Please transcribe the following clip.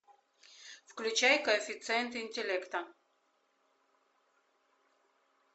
включай коэффициент интеллекта